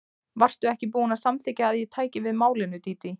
Varstu ekki búin að samþykkja að ég tæki við málinu, Dídí?